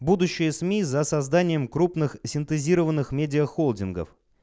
будущее сми за созданием крупных синтезированных медиахолдингов